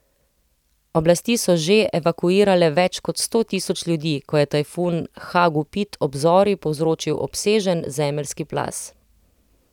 Oblasti so že evakuirale več kot sto tisoč ljudi, ko je tajfun Hagupit ob zori povzročil obsežen zemeljski plaz.